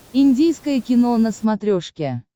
индийское кино на смотрешке